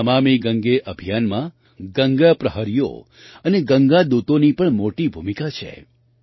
નમામિ ગંગે અભિયાનમાં ગંગા પ્રહરીઓ અને ગંગા દૂતોની પણ મોટી ભૂમિકા છે